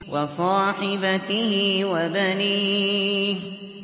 وَصَاحِبَتِهِ وَبَنِيهِ